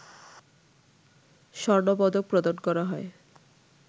স্বর্ণপদক প্রদান করা হয়